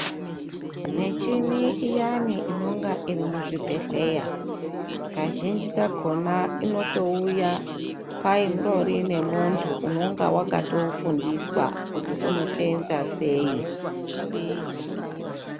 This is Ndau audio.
Michini iyani inenge iri muzvibhedhlera kazhinji kakona inotouya pangori nemuntu unonga wakatofundiswa kuti unosenza sei.